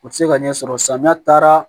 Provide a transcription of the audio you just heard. U tɛ se ka ɲɛsɔrɔ samiya taara